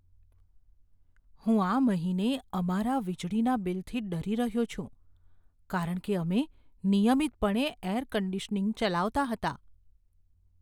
હું આ મહિને અમારા વીજળીના બિલથી ડરી રહ્યો છું, કારણ કે અમે નિયમિતપણે એર કન્ડીશનીંગ ચલાવતા હતા.